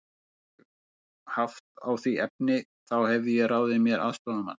Hefði ég haft á því efni, þá hefði ég ráðið mér aðstoðarmann.